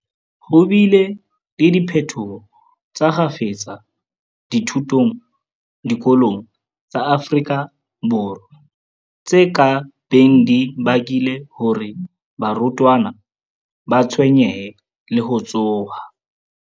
Ho bile le diphetoho tsa kgafetsa dithutong diko long tsa Afrika Borwa, tse ka beng di bakile hore barutwana ba tshwenyehe le ho tshoha.